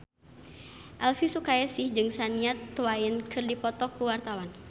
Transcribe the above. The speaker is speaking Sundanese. Elvy Sukaesih jeung Shania Twain keur dipoto ku wartawan